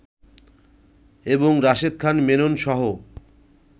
এবং রাশেদ খান মেননসহ